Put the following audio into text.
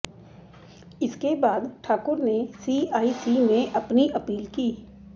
इसके बाद ठाकुर ने सीआईसी में अपनी अपील की